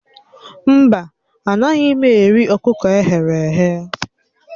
Mba, anaghị m eri ọkụkọ e ghere eghe